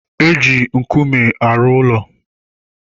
E ji nkume arụ ụlọ.